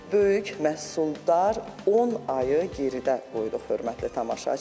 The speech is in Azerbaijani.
Böyük məhsuldar 10 ayı geridə qoyduq, hörmətli tamaşaçılar.